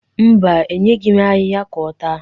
Mba, enyeghi m ahịhịa ka ọ taa.